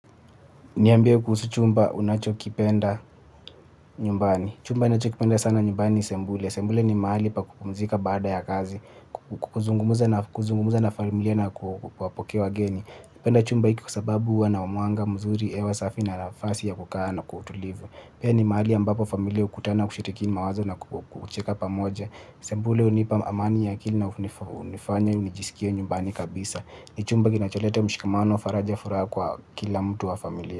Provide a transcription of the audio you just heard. Niambie kuhusu chumba unachokipenda nyumbani. Chumba ninachokipenda sana nyumbani ni sebule. Sebule ni mahali pa kupumzika baada ya kazi, kuzungumza na kuzungumza na familia na kuwapokea geni. Napenda chumba hiki kwa sababu huwa na mwanga mzuri, hewa safi na nafasi ya kukaa kwa utulivu. Pia ni mahali ambapo familia hukutana kushiriki mawazo na kucheka pamoja. Sebule hunipa amani ya akili na hunifanya nijisikie nyumbani kabisa. Ni chumba kinacholeta mshikamano faraja furaha kwa kila mtu wa familia.